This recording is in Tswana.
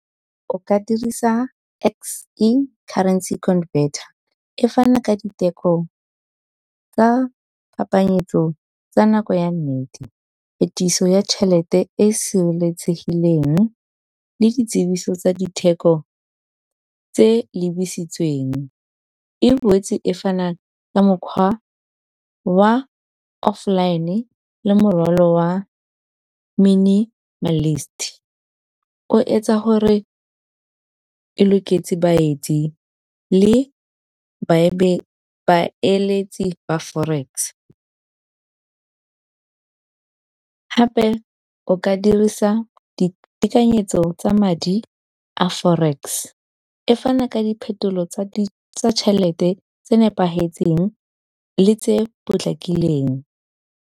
O ka dirisa X_E currency converter, e fana ka diteko tsa phapanyetso tsa nako ya nnete, phetiso ya tšhelete e e sireletsegileng le ditsibiso tsa ditheko tse lebisitsweng. E boetse e fana ka mokgwa oa offline le morwalo wa minimalist, o etsa gore e loketse baetsi le baeletsi ba forex. Gape o ka dirisa ditekanyetso tsa madi a forex, e fana ka diphetolo tsa tšhelete tse nepagetseng le tse potlakileng.